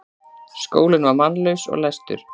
Skólinn var mannlaus og læstur.